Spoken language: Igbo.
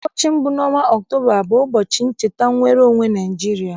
Ụbọchị mbụ n'ọnwa Ọktoba bụ ụbọchị ncheta nnwere onwe Nigeria.